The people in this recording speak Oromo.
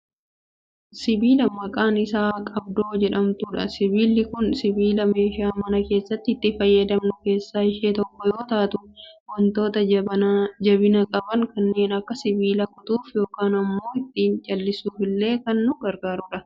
Sibiila maqaan ishee qabdoo jedhamtudha. Sibiilli kun sibiila meeshaa mana keessatti itti fayyadamnu keessaa ishee tokko yoo taatu, wantoota jabina qaban kanneen akka sibiilaa kutuuf yookaan ammoo ittiin jallisuufillee kan nu gargaarudha.